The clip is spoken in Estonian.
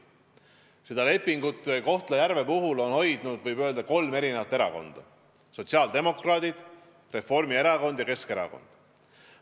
Seda lepingut Kohtla-Järve puhul on elus hoidnud kolm erakonda: sotsiaaldemokraadid, Reformierakond ja Keskerakond.